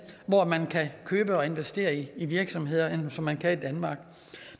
hvor man kan købe og investere i virksomheder som man kan i danmark